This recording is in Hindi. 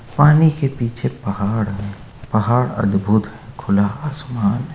पानी के पीछे पहाड़ है पहाड़ अद्भुत खुला आसमान है।